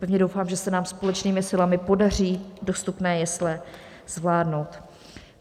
Pevně doufám, že se nám společnými silami podaří dostupné jesle zvládnout.